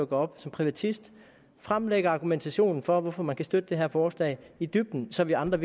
går op som privatist og fremlægger argumentationen for hvorfor man kan støtte det her forslag i dybden så vi andre